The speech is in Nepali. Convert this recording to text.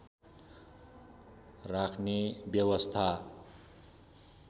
राख्ने व्यवस्था